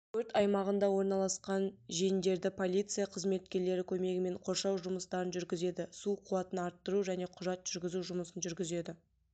өрт аймағында орналасқан жендерді полиция қызметкерлері көмегімен қоршау жұмыстарын жүргізеді су қуатын арттыру және құжат жүргізу жұмысын жүргізеді